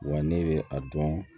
Wa ne bɛ a dɔn